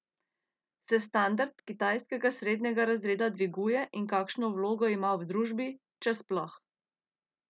Se standard kitajskega srednjega razreda dviguje in kakšno vlogo ima v družbi, če sploh?